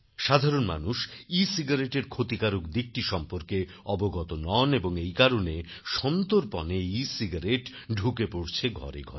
সাধারণ মানুষ ecigaretteএর ক্ষতিকারক দিকটি সম্পর্কে অবগত নন এবং এই কারণেসন্তর্পণেএসিগারেট ঢুকে পড়েছে ঘরেঘরে